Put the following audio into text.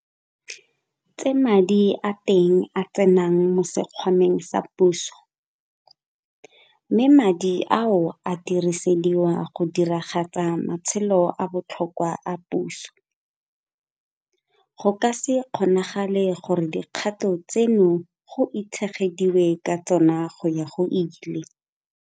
Tse madi a teng a tsenang mo sekgwameng sa puso, mme madi ao a dirisediwa go diragatsa matsholo a a botlhokwa a puso, go ka se kgonagale gore dikgato tseno go itshegediwe ka tsona go ya go ile.